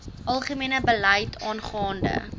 algemene beleid aangaande